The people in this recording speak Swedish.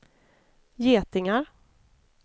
getingar